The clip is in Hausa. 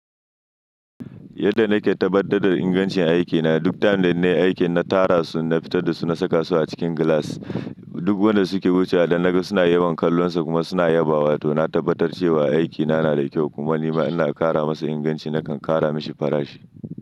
Yadda na ke tabbatar da ingancin aikina, duk time da nayi aiki na tara su, na fita da su na saka su a cikin glass. Duk wanda su ke wucewa idan na ga suna yawan kallonsa kuma suna yabawa, to na tabbatar cewa aikina na da kyau kuma nima ina kara masa inganci nakan kara mashi farashi.